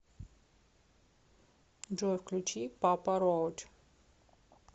джой включи папа роач